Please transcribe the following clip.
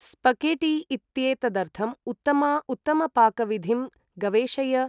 स्पखेठी इत्येतदर्थम् उत्तमा उत्तमपाकविधिं गवेषय